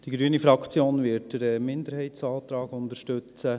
Die Fraktion Grüne wird den Minderheitsantrag unterstützen.